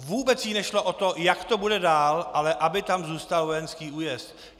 Vůbec jí nešlo o to, jak to bude dál, ale aby tam zůstal vojenský újezd.